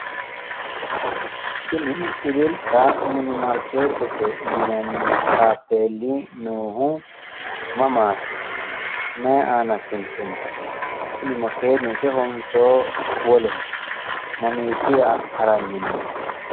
Tini ililta mini maarkeetete yinanni taapeelli noohu mamaati? mayi aana suntoonni? kuni makeenu isehonso woleho? mamiichira haranni nooho?